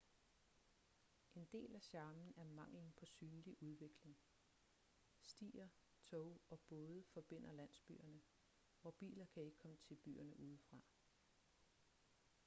en del af charmen er manglen på synlig udvikling stier tog og både forbinder landsbyerne og biler kan ikke komme til byerne udefra